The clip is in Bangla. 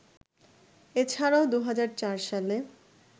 এছাড়াও ২০০৪ সালে